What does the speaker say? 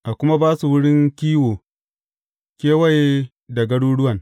A kuma ba su wurin kiwo kewaye da garuruwan.